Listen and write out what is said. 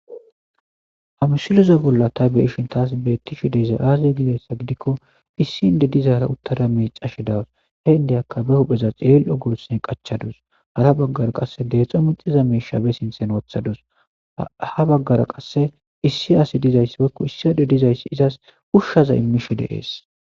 amisilize bolla ta beishin taas beetti shi deza aazi gidayssa gidikko issi inde dizaara uttada mecashe dawaus he indeyakka be hupheza xiel7ogose qachadus hara baggara qasse deexo minxiza meishabe sinthen wothadus ha baggara qasse issi asi dizayss wakko issi ado dizayssi izas ushshaza immisho deees